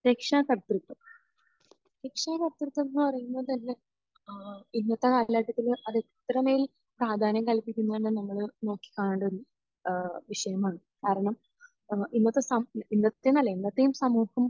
രക്ഷാകർതൃത്വം. രക്ഷാകർതൃത്വം എന്ന് പറയുമ്പോൾ തന്നെ ആഹ് ഇന്നത്തെ കാലഘട്ടത്തിൽ അത് എത്രമേൽ പ്രാധാന്യം നൽകുന്നതെന്ന് നമ്മൾ നോക്കിക്കാണേണ്ട ഒരു ഏഹ് വിഷയമാണ്. കാരണം ഇന്നത്തെയൊരു ഫ...ഇന്നത്തെയെന്നല്ല. എന്നത്തെയും സമൂഹം